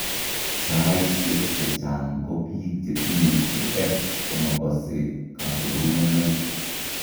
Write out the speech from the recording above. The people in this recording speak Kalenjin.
Saaisek chechang' ko biik chetinye AF komakose kaborunoik